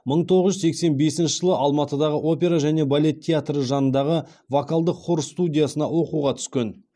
мың тоғыз жүз сексен бесінші жылы алматыдағы опера және балет театры жанындағы вокалдық хор студиясына оқуға түскен